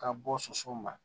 Ka bɔ soso ma